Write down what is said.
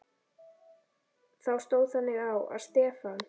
Þá stóð þannig á, að Stefán